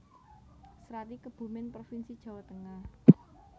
Srati Kebumen provinsi Jawa Tengah